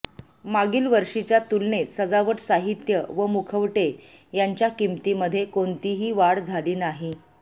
मागील वर्षीच्या तुलनेत सजावट साहित्य व मुखवटे यांच्या किमतीमध्ये कोणतीही वाढ झाली नाही